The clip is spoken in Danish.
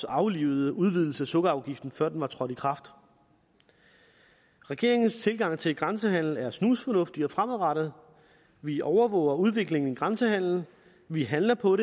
aflive udvidelsen af sukkerafgiften før den trådte i kraft regeringens tilgang til grænsehandelen er snusfornuftig og fremadrettet vi overvåger udviklingen i grænsehandelen vi handler på